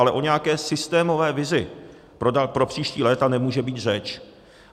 Ale o nějaké systémové vizi pro příští léta nemůže být řeč.